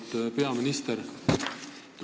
Auväärt peaminister!